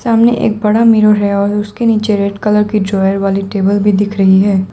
सामने एक बड़ा मिरर है और उसके नीचे रेड कलर की ड्रॉवर वाली टेबल भी दिख रही है।